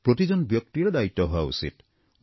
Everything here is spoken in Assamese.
প্ৰতিজন ব্যক্তিৰেই দায়িত্ব হোৱা উচিত